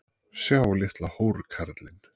Sjá litla hórkallinn!